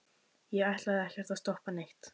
ég ætlaði ekkert að stoppa neitt.